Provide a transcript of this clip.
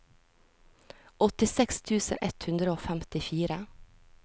åttiseks tusen ett hundre og femtifire